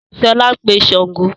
Sọlá ń pè Sángo